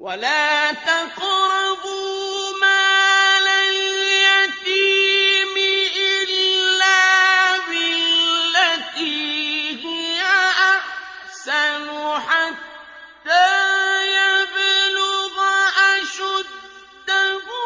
وَلَا تَقْرَبُوا مَالَ الْيَتِيمِ إِلَّا بِالَّتِي هِيَ أَحْسَنُ حَتَّىٰ يَبْلُغَ أَشُدَّهُ ۖ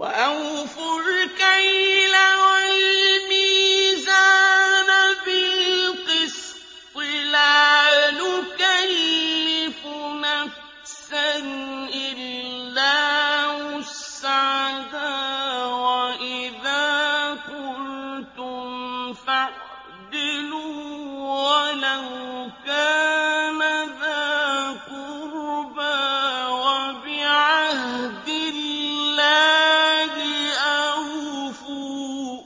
وَأَوْفُوا الْكَيْلَ وَالْمِيزَانَ بِالْقِسْطِ ۖ لَا نُكَلِّفُ نَفْسًا إِلَّا وُسْعَهَا ۖ وَإِذَا قُلْتُمْ فَاعْدِلُوا وَلَوْ كَانَ ذَا قُرْبَىٰ ۖ وَبِعَهْدِ اللَّهِ أَوْفُوا ۚ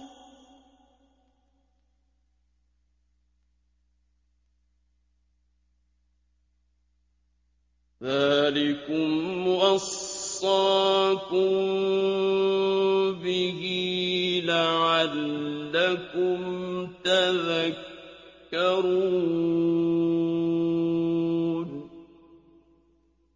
ذَٰلِكُمْ وَصَّاكُم بِهِ لَعَلَّكُمْ تَذَكَّرُونَ